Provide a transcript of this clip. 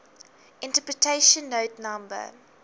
interpretation note no